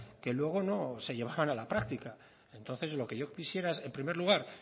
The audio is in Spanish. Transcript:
que luego no se llevaban a la práctica entonces lo que yo quisiera es en primer lugar